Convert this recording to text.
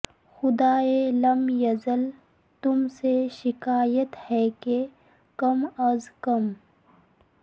خدائے لم یزل تم سے شکایت ہے کہ کم از کم